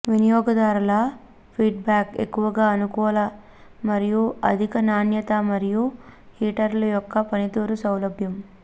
వినియోగదారుల ఫీడ్బ్యాక్ ఎక్కువగా అనుకూల మరియు అధిక నాణ్యత మరియు హీటర్లు యొక్క పనితీరు సౌలభ్యం